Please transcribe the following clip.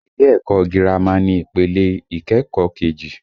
Ilé ẹ̀kọ́ ọ gírámà ni ìpele ìkẹ́kọ̀ọ́ kejì